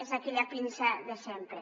és aquella pinça de sempre